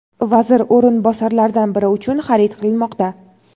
vazir o‘rinbosarlaridan biri uchun xarid qilinmoqda.